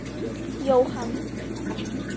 Jóhann